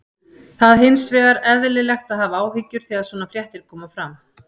það hins vegar eðlilegt að hafa áhyggjur þegar svona fréttir koma fram